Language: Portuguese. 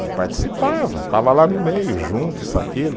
Ele participava, estava lá no meio, junto, isso, aquilo.